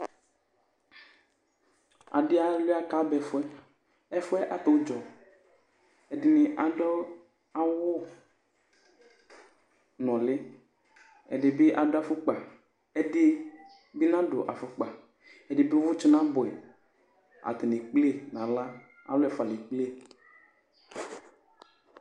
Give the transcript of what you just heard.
adi alʋia ka ba ɛfʋɛ , ɛfʋɛ at'udzɔ, ɛdini adu awu nuli , ɛdini bi adu afukpa, ɛdi bi nadu afukpa, ɛdi bi uvutsu n'abʋɛ ata ni ekple n'aɣla alu ɛfua le kplee